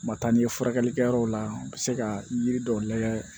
Ma taa n'i ye furakɛli kɛ yɔrɔw la u bɛ se ka yiri dɔw lagɛ